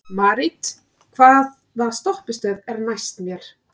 Marit, hvaða stoppistöð er næst mér?